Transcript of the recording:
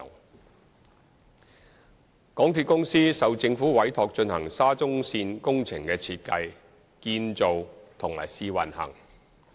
二港鐵公司受政府委託進行沙中線工程的設計、建造和試運行。